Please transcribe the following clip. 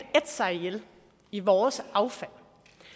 sig ihjel i vores affald